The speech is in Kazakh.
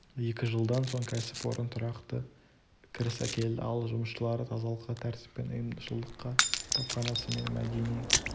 екі жылдан соң кәсіпорын тұрақты кіріс әкелді ал жұмысшылары тазалыққа тәртіп пен ұйымшылдыққа кітапханасы мен мәдени